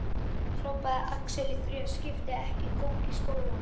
hrópaði Axel, í þriðja skipti, ekki kók í skólann.